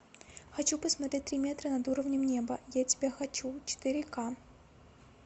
хочу посмотреть три метра над уровнем неба я тебя хочу четыре ка